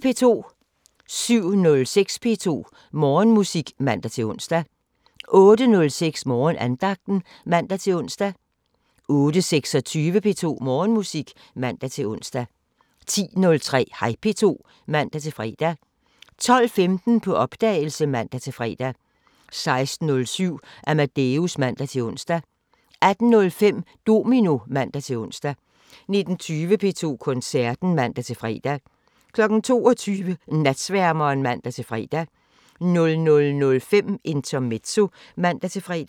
07:06: P2 Morgenmusik (man-ons) 08:06: Morgenandagten (man-ons) 08:26: P2 Morgenmusik (man-ons) 10:03: Hej P2 (man-fre) 12:15: På opdagelse (man-fre) 16:07: Amadeus (man-ons) 18:05: Domino (man-ons) 19:20: P2 Koncerten (man-fre) 22:00: Natsværmeren (man-fre) 00:05: Intermezzo (man-fre)